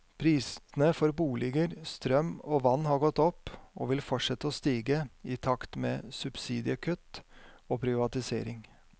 Prisene for boliger, strøm og vann har gått opp, og vil fortsette å stige i takt med subsidiekutt og privatisering.